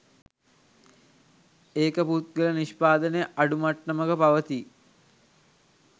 ඒක පුද්ගල නිෂ්පාදනය අඩු මට්ටමක පවතී.